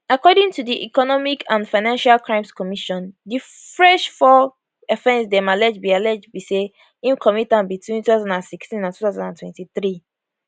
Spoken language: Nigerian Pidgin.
according to di economic and financial crimes commission di fresh four offence dem allege be allege be say im commit am between 2016 and 2023